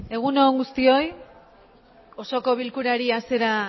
egun on guztioi osoko bilkurari hasiera